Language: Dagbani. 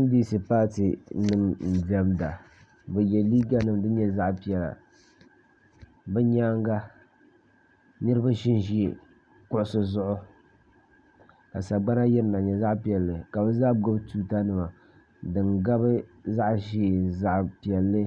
NDC paati nima n-diɛmda bɛ ye liiga nima din nyɛ zaɣ' piɛla bɛ nyaaga niriba ʒi n-ʒi kuɣisi zuɣu ka sagbana yirina n-nyɛ zaɣ' piɛlli ka gbubi tuuta nima din gabi zaɣ' ʒee ni zaɣ' piɛlli